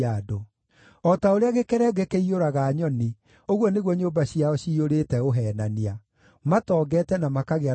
O ta ũrĩa gĩkerenge kĩiyũraga nyoni, ũguo nĩguo nyũmba ciao ciyũrĩte ũheenania; matongete na makagĩa na hinya,